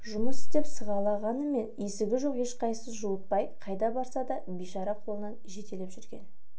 жұмыс іздеп сығаламаған есігі жоқ ешқайсысы жуытпайды қайда барса да бейшара қолынан жетелеп жүрген